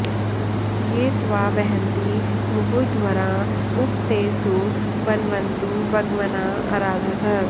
ये त्वा वहन्ति मुहुरध्वराँ उप ते सु वन्वन्तु वग्वनाँ अराधसः